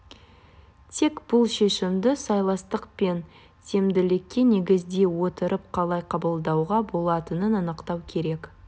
тек бұл шешімді сыйластық пен тиімділікке негіздей отырып қалай қабылдауға болатынын анықтау керек